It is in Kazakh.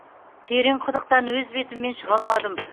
терең құдықтан өз бетіммен шыға алмадым